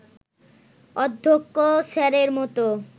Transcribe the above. অধ্যক্ষ স্যারের মতো